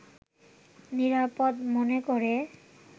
নিরাপদ মনে করে